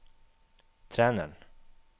treneren